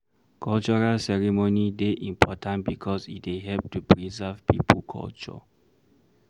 Cultural ceremony dey important because e dey help to preserve pipo culture